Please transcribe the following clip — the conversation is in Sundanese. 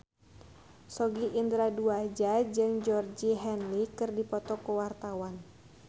Sogi Indra Duaja jeung Georgie Henley keur dipoto ku wartawan